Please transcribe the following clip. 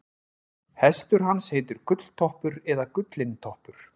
hestur hans heitir gulltoppur eða gullintoppur